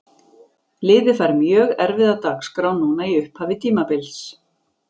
Liðið fær mjög erfiða dagskrá núna í upphafi tímabils.